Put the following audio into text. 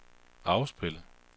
afspil